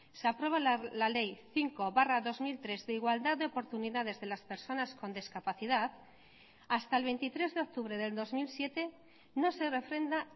se aprueba la ley cinco barra dos mil tres de igualdad de oportunidades de las personas con discapacidad hasta el veintitrés de octubre del dos mil siete no se refrenda